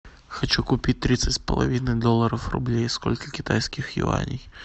хочу купить тридцать с половиной долларов рублей сколько китайских юаней